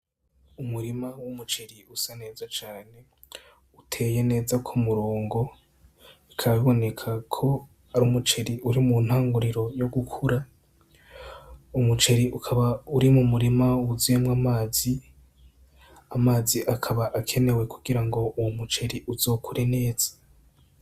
Umurima w'umuceri usa neza cane uteye neza ku murongo bikaba biboneka ko ari umuceri uri mu ntangiriro yo gukura umuceri ukaba uri mu murima wuzuyemwo amazi, amazi akaba akenewe kugira uwo muceri uzokure neza.